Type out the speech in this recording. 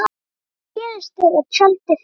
Hvað gerist þegar tjaldið fellur?